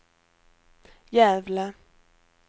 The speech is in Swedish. Gävle